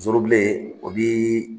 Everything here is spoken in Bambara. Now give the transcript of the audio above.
zorobilen o bi.